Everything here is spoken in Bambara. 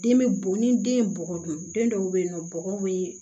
Den bɛ bon ni den ye bɔgɔ dun den dɔw bɛ yen nɔ bɔgɔ bɛ